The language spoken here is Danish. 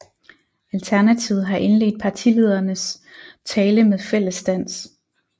Alternativet har indledt partilederens tale med fællesdans